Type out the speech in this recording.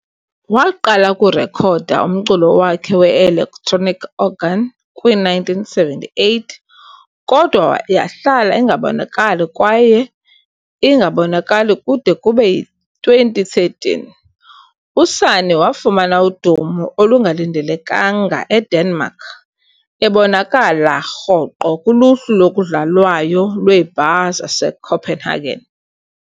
Waqala ukurekhoda umculo wakhe we-electronic organ kwi-1978 kodwa yahlala ingabonakali kwaye ingabonakali kude kube yi-2013. USani wafumana udumo olungalindelekanga eDenmark, ebonakala rhoqo kuluhlu lokudlalwayo lweebar zaseCopenhagen.